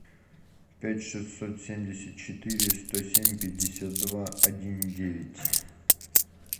пять шестьсот семьдесят четыре сто семь пятьдесят два один девять